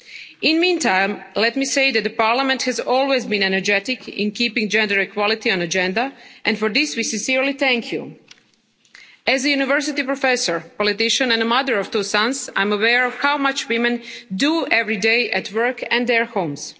In the meantime, let me say that Parliament has always been energetic in keeping gender equality on the agenda and for this we sincerely thank you. As a university professor, politician and a mother of two sons, I'm aware of how much women do every day at work and in their